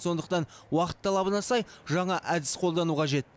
сондықтан уақыт талабына сай жаңа әдіс қолдану қажет